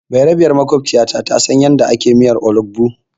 Bayarabiyar maƙwabciyatu ta san yadda ake miyar olugbu.